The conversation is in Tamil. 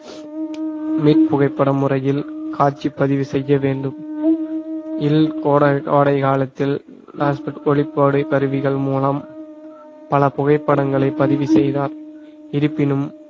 மீட் புகைப்படம் முறையில் காட்சி பதிவு செய்ய வேண்டும் கோடை~ கோடை காலத்தில் ஒளிப்பட கருவிகள் மூலம் பல புகைப்படங்களை பதிவு செய்தார் இருப்பினும்